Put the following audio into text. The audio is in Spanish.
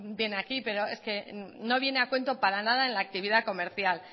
viene aquí pero es que no viene a cuento para nada en la actividad comercial